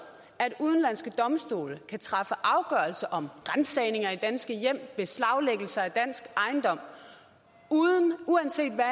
at udenlandske domstole kan træffe afgørelse om ransagninger i danske hjem og beslaglæggelser af dansk ejendom uanset hvad